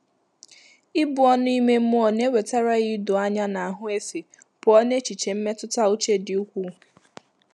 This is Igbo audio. Íbù ọ́nụ́ ímé mmụ́ọ́ nà-èwétárá yá ídòányá nà áhụ́ éfé pụ́ọ́ n’échíché mmétụ́tà úchè dị́ úkwúù.